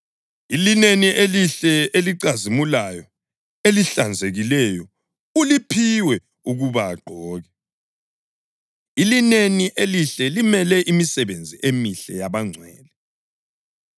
Ilineni elihle elicazimulayo elihlanzekileyo uliphiwe ukuba agqoke.” (Ilineni elihle limele imisebenzi emihle yabangcwele.)